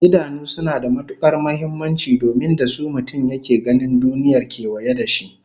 Idanu suna da matukar muhimmanci domin da su mutum yake ganin duniyar kewaye da shi